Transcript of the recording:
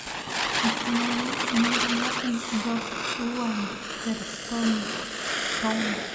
установи невероятный берт уандерстоун